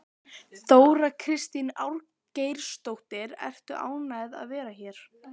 Þóra Kristín Ásgeirsdóttir: Ertu ánægð að vera hér?